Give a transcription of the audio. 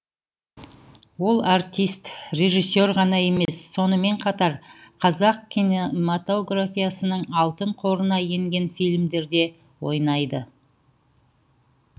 ол артист режиссер ғана емес сонымен қатар қазақ кинемотографиясының алтын қорына енген фильмдерде ойнады